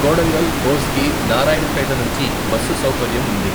కోడంగల్, కోస్గి, నారాయణపేట నుంచి బస్సు సౌకర్యం ఉంది.